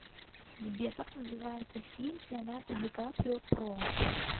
сбер как называется фильм с леонардо ди каприо про